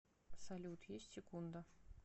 салют есть секунда